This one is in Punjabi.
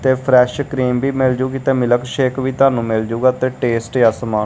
ਤੇ ਫ਼੍ਰੇਸ਼ ਕ੍ਰੀਮ ਵੀ ਮਿਲ ਜੂਗੀ ਤਾਂ ਮਿਲਕ ਸ਼ੇਕ ਵੀ ਤੁਹਾਨੂੰ ਮਿਲ ਜੂਗਾ ਤੇ ਟੇਸਟ ਆ ਸਮਾ--